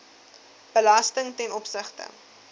belasting ten opsigte